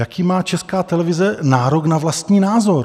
Jaký má Česká televize nárok na vlastní názor?